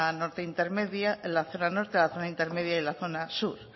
norte la zona intermedia y la zona sur